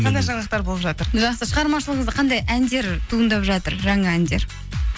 қандай жаңалықтар болып жатыр жақсы шығармашылығыңызда қандай әндер туындап жатыр жаңа әндер